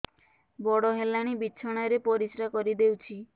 ବଡ଼ ହେଲାଣି ବିଛଣା ରେ ପରିସ୍ରା କରିଦେଉଛି